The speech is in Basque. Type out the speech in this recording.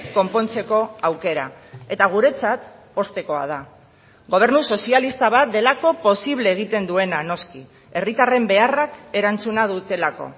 konpontzeko aukera eta guretzat poztekoa da gobernu sozialista bat delako posible egiten duena noski herritarren beharrak erantzuna dutelako